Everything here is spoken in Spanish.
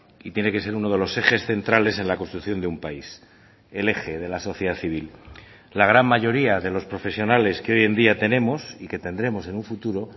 y tiene que ser uno de los ejes centrales en la construcción de un país el eje de la sociedad civil la gran mayoría de los profesionales que hoy en día tenemos y que tendremos en un futuro